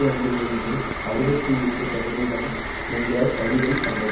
ஐந்தில் இருந்து அறுபத்தி எட்டு சதவிகிதம் என்ற சரிவைக் கண்டது